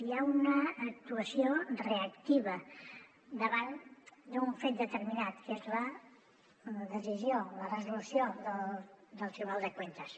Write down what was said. hi ha una actuació reactiva davant d’un fet determinat que és la decisió la resolució del tribunal de cuentas